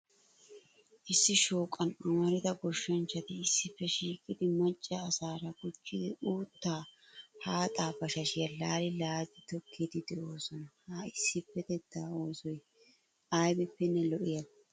Issi shooqan amarida goshshanchchati issippe shiiqidi macca asaara gujid uttaa haxxaa bashashiya laali laali tokkid de'oosona. Ha issippetetaa oosoy aybippenne lo'iyaabaa.